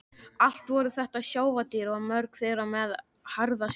Allt voru þetta sjávardýr og mörg þeirra með harða skel.